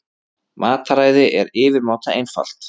Mataræði er yfirmáta einfalt.